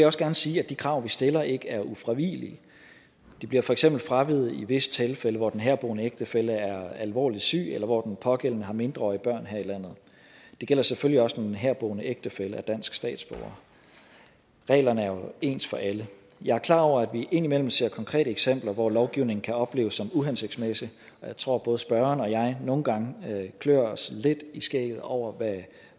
også gerne sige at de krav vi stiller ikke er ufravigelige de bliver for eksempel fraveget i visse tilfælde hvor den herboende ægtefælle er alvorligt syg eller hvor den pågældende har mindreårige børn her i landet det gælder selvfølgelig også når den herboende ægtefælle er dansk statsborger reglerne er jo ens for alle jeg er klar over at vi indimellem ser konkrete eksempler hvor lovgivningen kan opleves som uhensigtsmæssig og jeg tror at både spørgeren og jeg nogle gange klør os lidt i skægget over